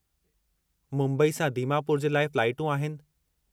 मुंबई सां दीमापुर जे लाइ फ्लाटूं आहिनि।